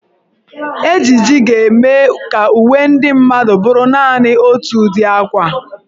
Ejiji ga-eme ka uwe ndị mmadụ bụrụ naanị otu ụdị akwa.